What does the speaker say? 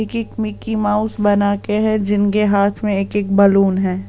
एक Mickey Mouse बना के है जिनके हाथ में एक-एक बलून है।